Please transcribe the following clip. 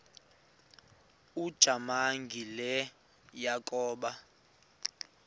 ujamangi le yakoba